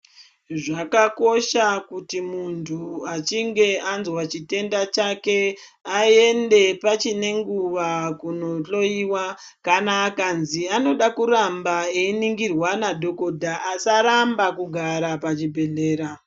Zvakakosha kuti muntu achinge anzwa chitenda chake, aende pachine nguva kunohloiwa. Kana akanzi anoda kuramba weiningirwa nadhokodha, asaramba kugara pachibhedhlera.